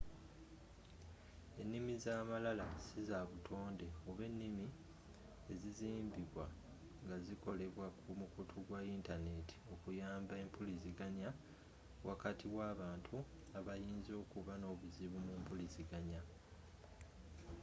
ennimi za malala siza butonde oba ennimi ezizimbibwa nga zikolebwa ku mukutu gwa yintaneti okuyamba empuliziganya wakati w'abantu abayinza okuba n'obuzibu mumpuliziganya